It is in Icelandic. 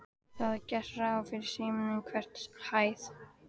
Það er gert ráð fyrir símum á hverri hæð.